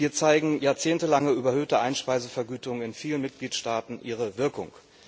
Hier zeigen jahrzehntelange überhöhte Einspeisevergütungen in vielen Mitgliedstaaten ihre Wirkung.